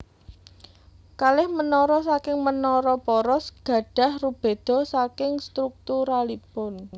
Kalih menara saking menara poros gadah rubeda saking strukturalipun